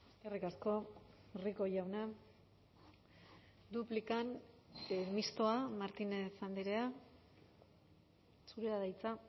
eskerrik asko rico jauna duplikan mistoa martínez andrea zurea da hitza